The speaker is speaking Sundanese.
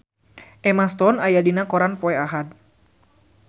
Emma Stone aya dina koran poe Ahad